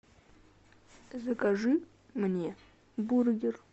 закажи мне бургер